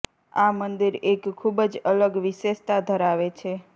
આ મંદિર એક ખુબ જ અલગ વિશેષતા ધરાવે છે